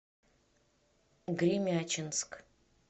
гремячинск